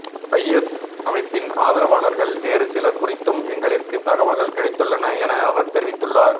IS அமைப்பின் ஆதரவாளர்கள் வேறு சிலர் குறித்தும் எங்களிற்கு தகவல்கள் கிடைத்துள்ளன என அவர் தெரிவித்துள்ளார்